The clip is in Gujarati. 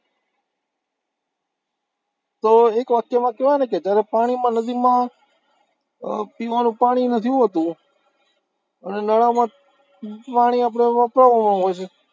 તો એક વાક્યમાં કેવાય ને કે જયારે પાણીમાં નદીમાં પીવાનું પાણી નથી હોતું, અને નણામાં પાણી આપણે વપરાવું હોય છે,